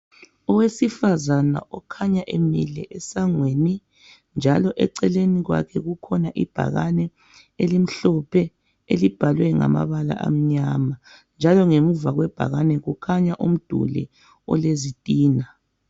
Owesifazana okhanya emile esangweni,.njalo eceleni kwakhe. kukhona ibhakane elimhlophe, elibhalwe ngamabala amnyama, njalo ngemuva kwebhakane., kukhanya umduli olezitina.